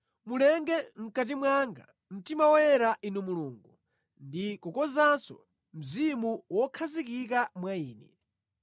Mulenge mʼkati mwanga mtima woyera Inu Mulungu ndi kukonzanso mzimu wokhazikika mwa ine.